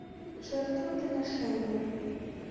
жертвоприношение